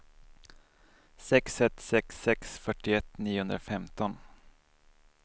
sex ett sex sex fyrtioett niohundrafemton